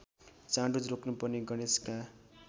चाँडो रोक्नुपर्ने गणेशका